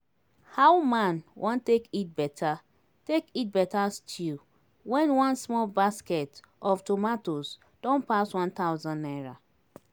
How man wan take eat better take eat better stew when one small basket of tomatoes don pass one thousand naira